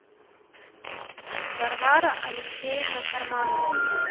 варвара алексеевна карманова